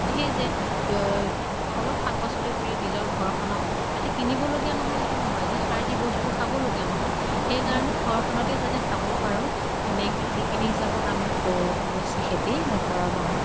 সেই যে দ অলপ শাক পাচলী কৰি নিজৰ ঘৰ খনক যাতে কিনিব লগিয়া নহয় সেইটো নহয় যে সাৰ দি বস্তু খাব লগিয়া নহয়। সেই কাৰণে ঘৰ খ্নতে যাতে খাব পাৰো তেনেকে সেইখিনি হিচাপত আমি কৰোঁ অৱশ্য়ে খেতি, নকৰা নহয়।